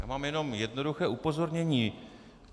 Já mám jenom jednoduché upozornění.